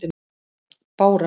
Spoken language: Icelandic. Bára